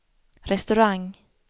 restaurang